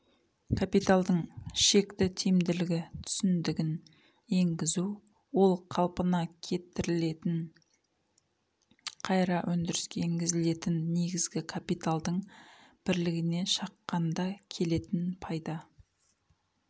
капиталдың шекті тиімділігі түсіндігін енгізу ол қалпына кетірілетін қайыра өндіріске енгізілетін негізгі капиталдың бірлігіне шаққанда келетін пайда